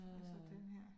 Og så denne her